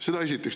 Seda esiteks.